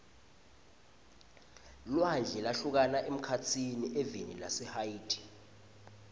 lwandle lwahlukana emkhatsini eveni lase haiti